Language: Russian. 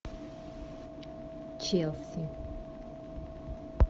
челси